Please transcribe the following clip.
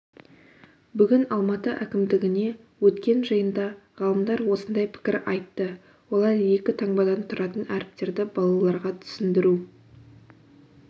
бүгін алматы әкімдігінде өткен жиында ғалымдар осындай пікір айтты олар екі таңбадан тұратын әріптерді балаларға түсіндіру